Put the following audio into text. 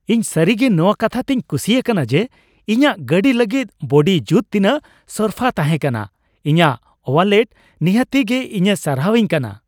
ᱤᱧ ᱥᱟᱹᱨᱤᱜᱮ ᱱᱚᱣᱟ ᱠᱟᱛᱷᱟ ᱛᱮᱧ ᱠᱩᱥᱤ ᱟᱠᱟᱱ ᱡᱮ ᱤᱧᱟᱹᱜ ᱜᱟᱹᱰᱤ ᱞᱟᱹᱜᱤᱫ ᱵᱚᱰᱤ ᱡᱩᱛ ᱛᱤᱱᱟᱹᱜ ᱥᱚᱨᱯᱷᱟ ᱛᱟᱦᱮᱸᱠᱟᱱᱟ; ᱤᱧᱟᱹᱜ ᱳᱣᱟᱞᱮᱴ ᱱᱤᱦᱟᱹᱛᱤ ᱜᱮ ᱤᱧᱮ ᱥᱟᱨᱦᱟᱣ ᱤᱣ ᱠᱟᱱᱟ ᱾